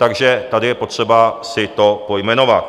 Takže tady je potřeba si to pojmenovat.